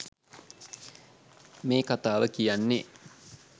මේ කතාව කියන්නේ